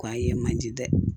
Kɔn ye manje dɛ